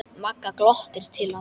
Magga glottir til hans.